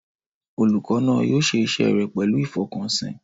Olùkọ́ náà yóò ṣe iṣẹ́ rẹ̀ pẹ̀lú ìfọkànsìn.